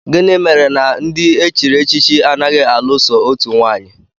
Gịnị mere na ndị e chiri echichi anaghị alụ so otu nwaanyị?